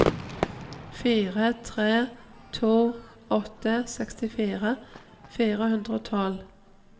fire tre to åtte sekstifire fire hundre og tolv